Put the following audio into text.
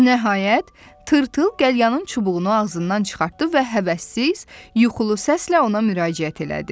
Nəhayət, tırtıl qəlyanının çubuğunu ağzından çıxartdı və həvəssiz, yuxulu səslə ona müraciət elədi.